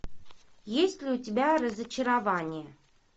есть ли у тебя разочарование